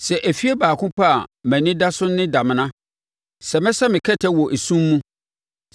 Sɛ efie baako pɛ a mʼani da so ne damena, sɛ mesɛ me kɛtɛ wɔ esum mu,